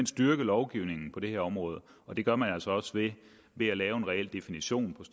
styrke lovgivningen på det her område og det gør man altså også ved at lave en reel definition